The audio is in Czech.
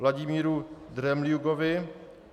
Vladimíru Dremljugovi